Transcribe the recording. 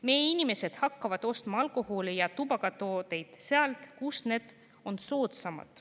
Meie inimesed hakkavad ostma alkoholi ja tubakatooteid sealt, kus need on soodsamad.